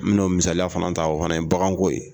N bɛn'o misaliya dɔ fana ta o fana ye baganko ye